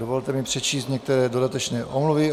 Dovolte mi přečíst některé dodatečné omluvy.